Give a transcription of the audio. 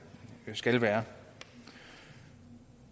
skal være